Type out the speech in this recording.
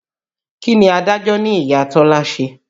Kí ni adájọ́ ní Ìya Tọ́lá ṣe?